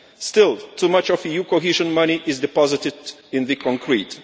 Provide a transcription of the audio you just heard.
Still too much of EU cohesion money is deposited in the concrete